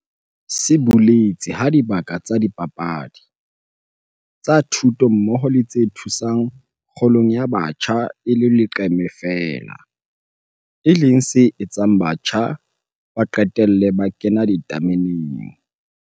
se boletse ha dibaka tsa dipapadi, tsa thuto mmoho le tse thusang kgolong ya batjha e le leqeme feela, e leng se etsang batjha ba qetelle ba 'kena ditameneng'.